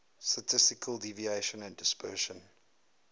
statistical deviation and dispersion